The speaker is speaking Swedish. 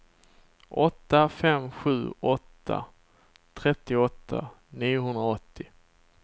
åtta fem sju åtta trettioåtta niohundraåttio